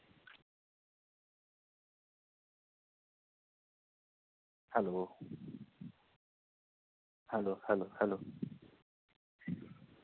Hello hello hello hello?